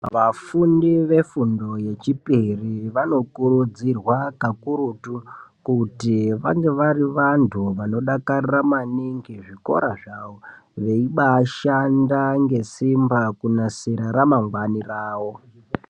Vafundi vefundo yechipiri vano kurudzirwa kakurutu kuti vange vari vanhu vanodakarira maningi zvikora zvavo veibaa ashanda ngesimba kunasira ramangwani rawo.